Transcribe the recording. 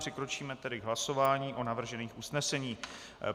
Přikročíme tedy k hlasování o navržených usneseních.